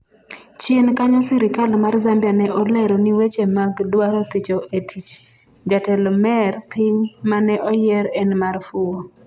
chien kanyo sirikal mar Zambia ne olero ni weche mag dwaro thicho e tich jatelo mer piny mane oyier en mar fuwo